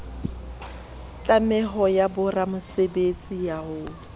tlameho ya boramosebetsi ya ho